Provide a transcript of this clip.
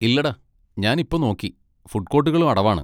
ഇല്ലെടാ, ഞാൻ ഇപ്പൊ നോക്കി, ഫുഡ് കോട്ടുകളും അടവാണ്.